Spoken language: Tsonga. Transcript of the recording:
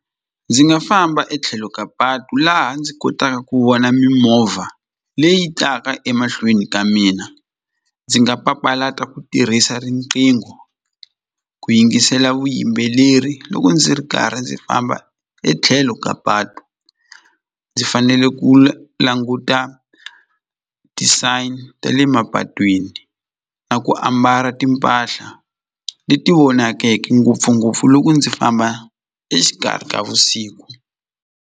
Ndzi nga famba etlhelo ka patu laha ndzi kotaka ku vona mimovha leyi taka emahlweni ka mina ndzi nga papalata ku tirhisa riqingho ku yingisela vuyimbeleri loko ndzi ri karhi ndzi famba etlhelo ka patu ndzi fanele ku languta ti sign ta le mapatwini na ku ambala timpahla leti vonakeke ngopfungopfu loko ndzi famba exikarhi ka vusiku.